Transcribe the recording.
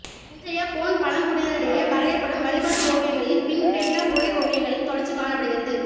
இன்றைய கோண்ட் பழங்குடியினரிடையே வரையப்படும் வழிபாட்டு ஓவியங்களில் பிம்பேட்கா குகை ஓவியங்களின் தொடர்ச்சி காணப்படுகிறது